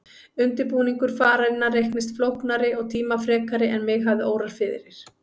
Undirbúningur fararinnar reyndist flóknari og tímafrekari en mig hafði órað fyrir.